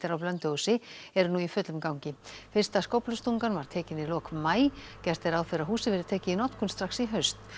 á Blönduósi eru nú í fullum gangi fyrsta skóflustungan var tekin í lok maí gert er ráð fyrir að húsið verði tekið í notkun strax í haust